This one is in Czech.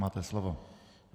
Máte slovo.